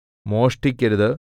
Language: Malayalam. മോഷ്ടിക്കരുത്